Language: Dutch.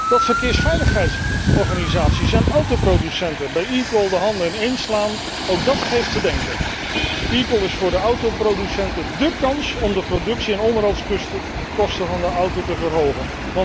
Dat verkeersveiligheidsorganisaties en autoproducenten bij eCall de handen ineen slaan, ook dat geeft te denken. eCall is voor de autoproducenten dé kans om de productie en onderhoudskosten van de auto te verhogen.